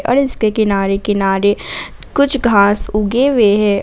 और इसके किनारे किनारे कुछ घास उगे हुए हैं।